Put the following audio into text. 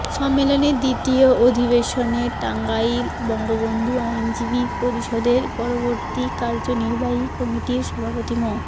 সম্মেলনের দ্বিতীয় অধিবেশনে টাঙ্গাইল বঙ্গবন্ধু আইনজীবী পরিষদের পরবর্তী কার্যনির্বাহী কমিটির সভাপতি মো